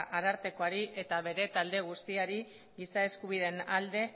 arartekoari eta bere talde guztiari giza eskubideen alde